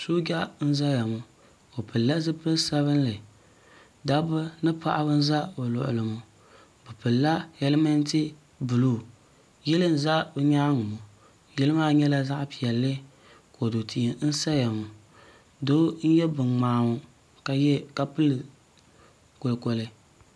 soja na zaya ŋɔ o.pɛlila zibili sabinli da ba ni paɣ' ba n za o kuli ŋɔ be pɛlila yalimɛntɛ bulu yili n za o nyɛŋa ŋɔ yili maa nyɛla zaɣ' piɛlli kodu ti n saya ŋɔ do n yɛ binkpaa ŋɔ ka yɛ ka bili koli koli